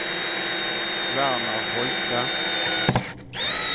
Werner Holte